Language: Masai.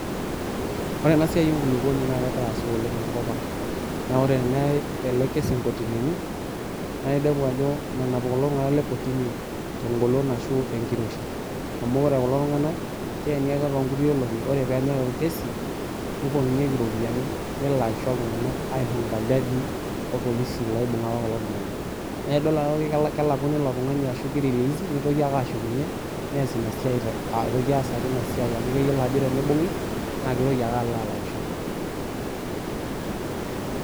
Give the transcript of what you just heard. Ore enasiai enkulupuoni naa kegira aasa oleng tenkopang naa ore teneyay ele kesi nkotinini naa inepu ajo menap kulo tunganak lekotini tengolon ashu tenkiroshi amu ore kulotunganak keeni ake toonkuti olongi ore penyae orkesi nipotunyieki iropiyiani , nelakisho iltunganak aihonka iljajiii orpolisi loibunga apa kulo tunganak naa idol ajo kelakuni ilotungani ashu kirelisi nitoki ake ashukunyie nees inasiai te aitoki ake aas inasiai amu keyiolo ajo tenibungi naa kitoki ake alo alakisho .